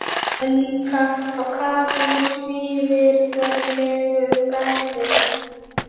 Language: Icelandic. Hann var líka á kafi í svívirðilegu braski.